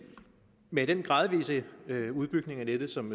med den gradvise udbygning af nettet som